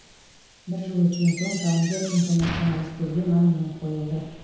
бір жыл өткен соң жауынгер интернационалистерге монумент қойылды